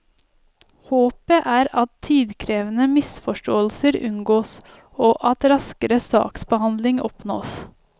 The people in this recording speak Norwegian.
Håpet er at tidkrevende misforståelser unngås og at raskere saksbehandling oppnås.